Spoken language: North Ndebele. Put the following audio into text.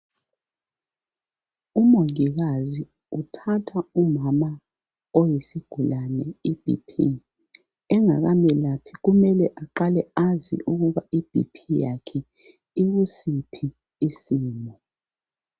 Umongikazi uthatha umama oyisigulane ibhiphi, engakamelaphi kumele aqale azi ukuba ibhiphi yakhe ikusiphi isimo.